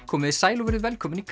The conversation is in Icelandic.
komiði sæl og verið velkomin í